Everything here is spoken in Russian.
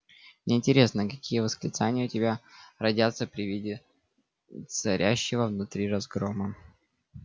мне интересно какие восклицания у тебя родятся при виде царящего внутри разгрома